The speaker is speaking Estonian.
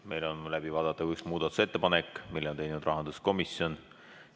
Meil on läbi vaadata üks muudatusettepanek, mille on teinud rahanduskomisjon.